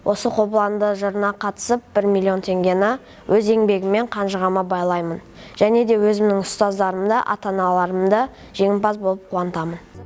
осы қобыланды жырына қатысып бір миллион теңгені өз еңбегіммен қанжығама байлаймын және де өзімнің ұстаздарымды ата аналарымды жеңімпаз болып қуантамын